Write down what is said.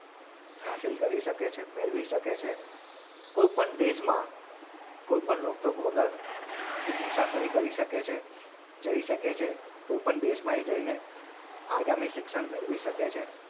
હાઝીલ કરે શકે છે મેળવી શકે છે કોઈપણ દેશમાં કોઈપણ રોકટોક વગર એ મુસાફરી કરી શકે છે જઈ શકે છે કોઈપણ દેશમાં એ જઈને આગામી શિક્ષણ મેળવી શકે છે.